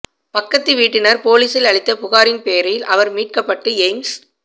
பக்கத்து வீட்டினர் போலீசில் அளித்த புகாரின் பேரில் அவர் மீட்கப்பட்டு எய்ம்ஸ்